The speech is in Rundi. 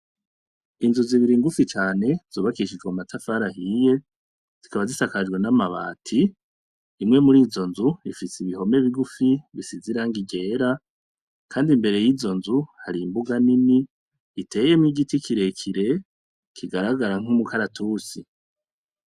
Inzu zibiri ingufi cane zubakishijwe mu matafarahiye zikaba zisakajwe n'amabati imwe muri izo nzu ifitse ibihome bigufi bisizirango irera, kandi imbere y'izo nzu hari imbuga nini iteyemwo igiti kirekire kigaragara nk'umukaratusi.